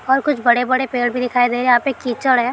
और कुछ बड़े-बड़े पेड़ भी दिखाई दे रहे हैं यहाँ पे कीचड़ है।